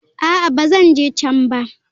A'a, ba zan je can ba.